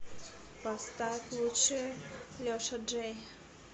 поставь лучшее леша джей